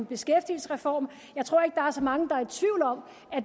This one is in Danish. beskæftigelsesreform jeg tror ikke er så mange der